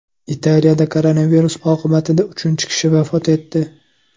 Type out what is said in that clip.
Italiyada koronavirus oqibatida uchinchi kishi vafot etdi.